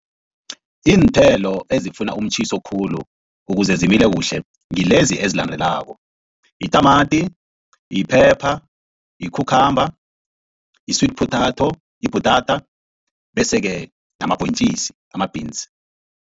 Iinthelo ezifuna umtjhiso khulu ukuze zimile kuhle ngilezi ezilandelako, yitamati, yi-pepper, yi-cucumber, yi-sweet potato ibhutata bese-ke namabhontjisi ama-beans.